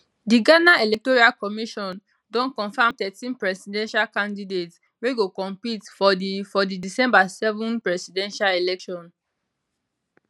di ghana electoral commission don confam thirteen presidential candidates wey go compete for di for di december 7 presidential election